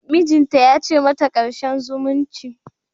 Mijinta ya ce mata "Karshen zumunci!".